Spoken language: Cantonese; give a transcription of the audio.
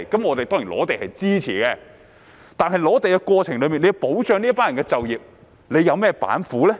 我們對於收地當然是支持的，但在收地過程中要保障這群人的就業，政府有甚麼板斧呢？